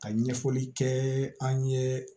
Ka ɲɛfɔli kɛ an ye